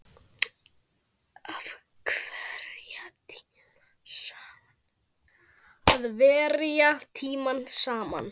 Að verja tíma saman.